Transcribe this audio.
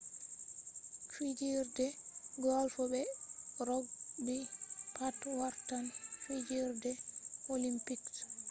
fijerde golf be rogbi pat wartan fijerde olimpiks